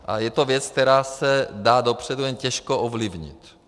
A je to věc, která se dá dopředu jen těžko ovlivnit.